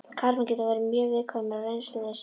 Karlmenn geta verið mjög viðkvæmir og reynslulausir.